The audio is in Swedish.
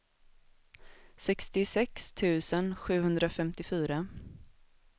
sextiosex tusen sjuhundrafemtiofyra